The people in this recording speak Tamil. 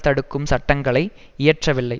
தடுக்கும் சட்டங்களை இயற்றவில்லை